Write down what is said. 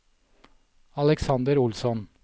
Alexander Olsson